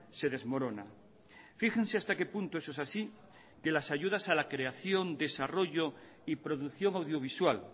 se desmorona fíjense hasta qué punto eso es así que las ayudas a la creación desarrollo y producción audiovisual